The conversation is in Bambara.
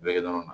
Bɛɛ nana